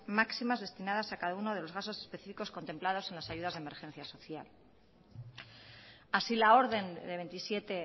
máximas destinadas a cada uno de los gastos específicos contemplados en las ayudas de emergencia social así la orden de veintisiete